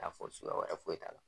y'a fɔ suguya wɛrɛ foyi la.